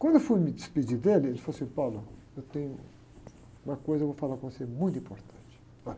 Quando eu fui me despedir dele, ele falou assim, eu tenho uma coisa que eu vou falar com você, muito importante.